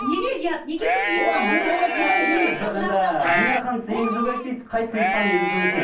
неге ұят неге сіз именно осы сіз енгізу керек дейсіз қай сыныптан енгізу керек